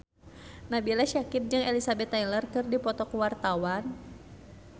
Nabila Syakieb jeung Elizabeth Taylor keur dipoto ku wartawan